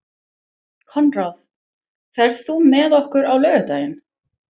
Konráð, ferð þú með okkur á laugardaginn?